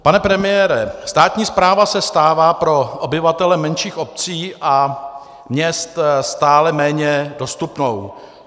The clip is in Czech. Pane premiére, státní správa se stává pro obyvatele menších obcí a měst stále méně dostupnou.